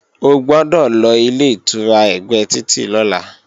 O gbọ́dọ̀ lọ Ilé-ìtura ẹ̀gbẹ́ títì lọ́la!